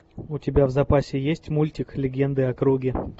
у тебя в запасе есть мультик легенды о круге